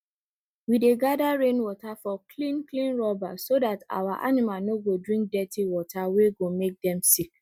we dey gather rainwater for clean clean rubber so dat our animal no go drink dirty water wey go make make dem sick